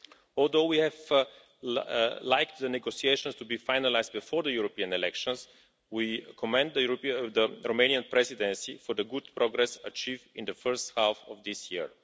Although we would have liked the negotiations to be finalised before the European elections, we commend the Romanian Presidency for the good progress achieved in the first half of this year.